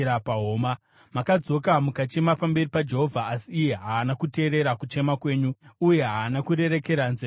Makadzoka mukachema pamberi paJehovha, asi iye haana kuteerera kuchema kwenyu uye haana kurerekera nzeve yake kwamuri.